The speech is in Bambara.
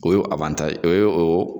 O ye o ye o